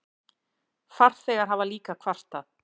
Farþegar hafa líka kvartað.